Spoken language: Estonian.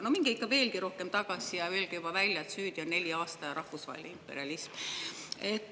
No minge ikka veelgi rohkem tagasi ja öelge juba välja, et süüdi on neli aastaaega ja rahvusvaheline imperialism!